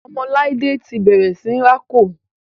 ọmọ laide ti bẹrẹ sìn rá kò.